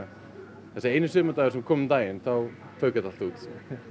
þessi eini sumardagur sem kom um daginn þá fauk þetta allt út